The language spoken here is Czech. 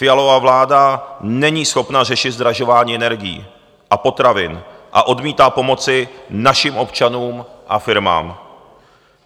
Fialova vláda není schopna řešit zdražování energií a potravin a odmítá pomoci našim občanům a firmám.